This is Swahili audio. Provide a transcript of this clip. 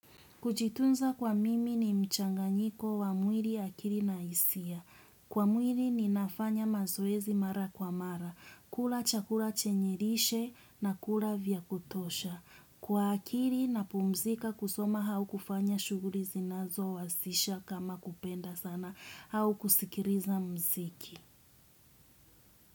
Kujitunza kwa mimi ni mchanganyiko wa mwiri akiri na hisia. Kwa mwiri ninafanya mazoezi mara kwa mara. Kula chakula chenye lishe na kula vya kutosha. Kwa akiri napumzika kusoma hau kufanya shughuri zinazowasisha kama kupenda sanaa au kusikiriza mziki.